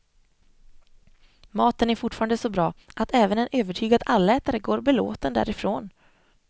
Maten är fortfarande så bra att även en övertygad allätare går belåten därifrån.